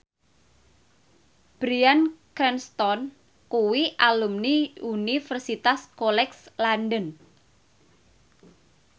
Bryan Cranston kuwi alumni Universitas College London